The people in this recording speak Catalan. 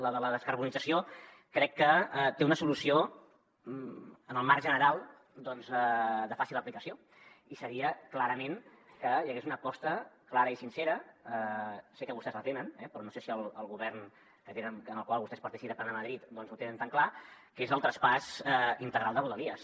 la de la descarbonització crec que té una solució en el marc general de fàcil aplicació i seria clarament que hi hagués una aposta clara i sincera sé que vostès la tenen però no sé si el govern en el qual vostès participen a madrid ho tenen tan clar que és el traspàs integral de rodalies